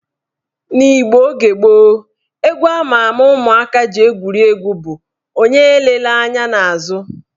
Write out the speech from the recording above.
N'Igbo oge gboo, egwu ama ama ụmụaka ji egwuri egwu bụ " Onye elela anya n' azụ"